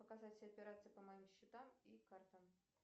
показать все операции по моим счетам и картам